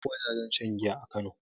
Babu wajajen shan giya a kano